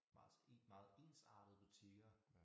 Meget meget ensartede butikker